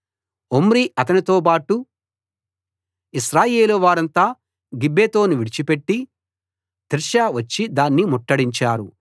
Omri అతనితోబాటు ఇశ్రాయేలు వారంతా గిబ్బెతోను విడిచిపెట్టి తిర్సా వచ్చి దాన్ని ముట్టడించారు